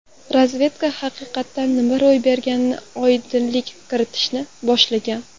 Razvedka haqiqatda nima ro‘y berganiga oydinlik kiritishni boshlagan.